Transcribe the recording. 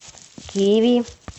киви